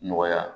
Nɔgɔya